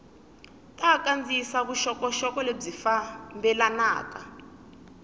ta kandziyisa vuxokoxoko lebyi fambelanaka